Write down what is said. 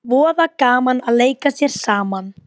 Voða gaman að leika sér saman